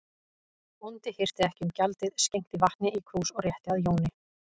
Bóndi hirti ekki um gjaldið, skenkti vatni í krús og rétti að Jóni.